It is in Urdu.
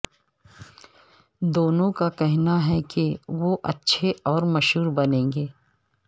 دونوں کا کہنا ہے کہ وہ اچھے اور مشہور بنیں گے